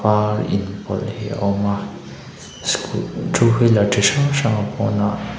var inpawlh hi a awm a scoo two wheeler chi hrang hrang a pawnah--